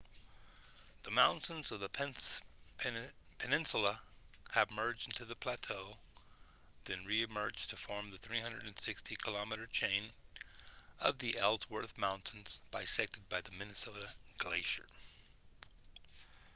the mountains of the peninsula here merge into the plateau then re-emerge to form the 360 km chain of the ellsworth mountains bisected by the minnesota glacier